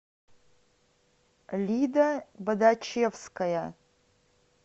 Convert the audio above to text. лида бодачевская